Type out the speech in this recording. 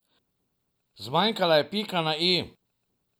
Zmanjkala je pika na i.